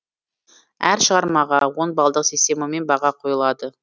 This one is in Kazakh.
әр шығармаға он балдық системамен баға қойылады